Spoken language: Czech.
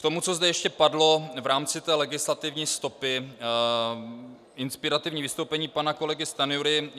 K tomu, co zde ještě padlo v rámci té legislativní stopy, inspirativní vystoupení pana kolegy Stanjury.